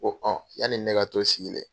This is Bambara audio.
Ko yanni ne ka to sigilen.